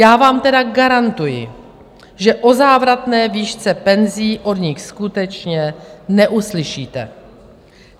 Já vám tedy garantuji, že o závratné výšce penzí od nich skutečně neuslyšíte.